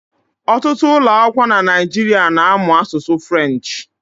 Ọtụtụ ụlọakwụkwọ na Naịjirịa na-amụ asụsụ French.